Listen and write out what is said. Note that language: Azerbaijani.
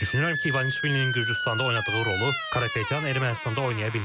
Düşünürəm ki, İvanişvilinin Gürcüstanda oynadığı rolu Karapetyan Ermənistanda oynaya bilməz.